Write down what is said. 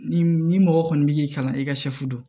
Ni ni mɔgɔ kɔni b'i kalan i ka sɛfu don